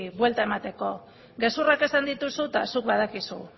buelta emateko gezurrak esan dituzu eta zuk badakizu